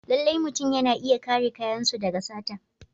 Lallai mutum yana iya kare kayansu daga sata.